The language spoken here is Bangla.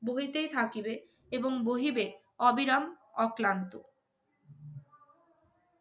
বহিতেই থাকিবে এবং বহিবে অবিরাম অক্লান্ত